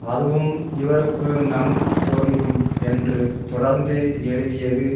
அதுவும் இவருக்கு நன்கு பொருந்தும் என்று தொடர்ந்து எழுதியது